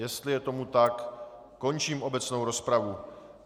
Jestli je tomu tak, končím obecnou rozpravu.